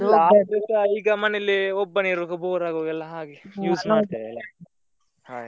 ರಾತ್ರಿಸ ಈಗ ಮನೆಯಲ್ಲಿ ಒಬ್ಬನೇ ಇರುವಾಗ bore ಆಗುವಾಗೆಲ್ಲ ಹಾಗೆ use ಮಾಡ್ತೇವೆ ಅಲ್ಲಾ ಹಾಗೆ.